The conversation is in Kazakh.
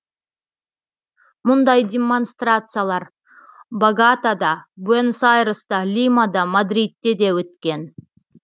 мұндай демонстрациялар боготада буэнос айресте лимада мадридте де өткен